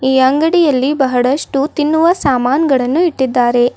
ಈ ಅಂಗಡಿಯಲ್ಲಿ ಬಹಳಷ್ಟು ತಿನ್ನುವ ಸಾಮಾನ್ಗಳನ್ನು ಇಟ್ಟಿದ್ದಾರೆ.